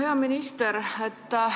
Hea minister!